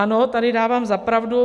Ano, tady dávám za pravdu.